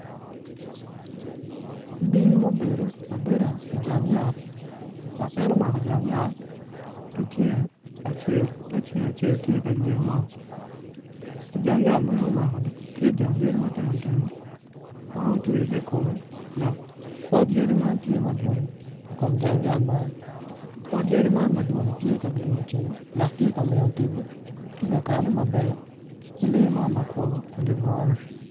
Bim ma obedo abeda ijang yat dok en onako jang yat ki cinge acel ka cinge acel tye ka yweyo mot ijang yat ma en omakoni tye jang yadi matino tino ma otwi ki i kome dok pot yadi man tye madwong i kom jang yat man pot yadi man madwongi tye ka gengo ceng dok tye ka miyo tipo ki kakane maber ki lee man makwo idi bungani.